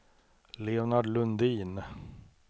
Leonard Lundin